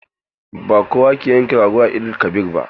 Ba kowa ke yankan rago da Eid-el-kabir ba.